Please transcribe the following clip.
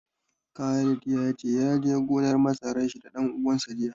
Khalid ya ce, ya je gonar masarar da shi da ɗan uwansa jiya.